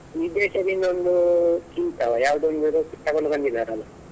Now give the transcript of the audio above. ವಿದೇಶದಿಂದ ಒಂದು ಚಿಂತವ ಯಾವುದೋ ಒಂದು ತಗೊಂಡು ಬಂದಿದ್ದಾರಲ್ಲ.